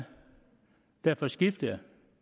derfor skiftede